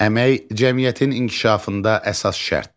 Əmək cəmiyyətin inkişafında əsas şərtdir.